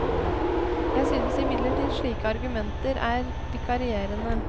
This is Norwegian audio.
Jeg synes imidlertid slike argumenter er vikarierende.